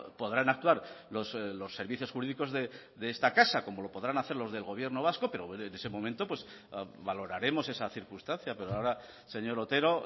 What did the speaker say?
podrán actuar los servicios jurídicos de esta casa como lo podrán hacer los del gobierno vasco pero en ese momento valoraremos esa circunstancia pero ahora señor otero